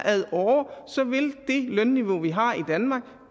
så vil det lønniveau vi har i danmark